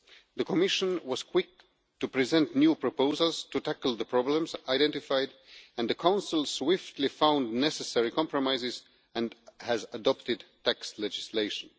The Commission was quick to present new proposals to tackle the problems identified and the Council swiftly found necessary compromises and has adopted tax legislation.